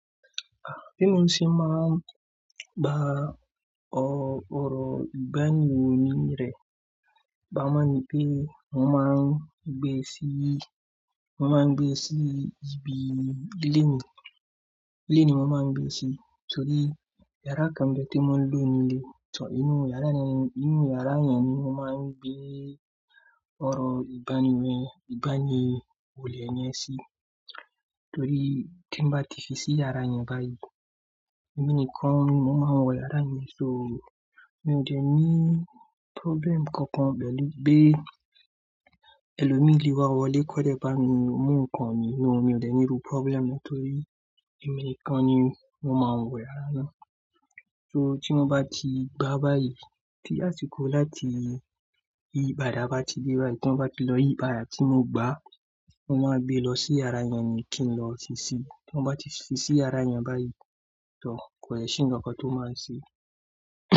Ah! Tí mo ń ṣe máa gba ọ ọ̀rọ̀ ìbániwọ̀ni rẹ, bàá má ni pé mo máa ń gbé sí, mo máa ń gbé sí ibi, ilé ni, ilé ni mo máa ń gbé sí torí yàrá kan bẹ tí mo ń lọ nílé. Ṣòó inú yàrá yẹn ni, inú yàrá yẹn ni mo máa ń gbé ọ̀rọ̀ ìbániwẹ́, ìbániwọ̀lé yẹn sí. Torí tí ń bá tìfí sí yàrá yẹn báyìí, èmi nìkan ni mo máa ń wọ yàrá yẹn, so mi ò dẹ̀ ní problem kankan pẹ̀lú bí ẹlòmíì lé wa wọlé kọ́dẹ̀ bá mi mú nǹkan mi nínú, mi ò jẹ̀ ní ru problem torí èmi nìkan ni mo máa ń wọ yàrá náà. So tí wọ́n bá ti gbá báyìí, tí àsìkò láti yí pàdà bá ti dé báyìí tí wọ́n bá ti lọ yí pàdà tí wọ́n gbá, mo máa gbé lọ sí yàrá yẹn ni kí n lọ ṣíṣí. Tí wọ́n bá ti ṣíṣí yàrá yẹn báyìí, tọ kò le ṣí ǹkan tó máa ń ṣe.